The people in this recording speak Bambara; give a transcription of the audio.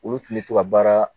Olu tun bɛ to ka baara